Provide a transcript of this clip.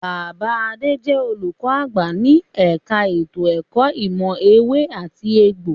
Bàbá Adé jẹ olùkọ àgbà ní ẹka ètò ẹ̀kọ́ ìmọ̀ ewé àti egbò.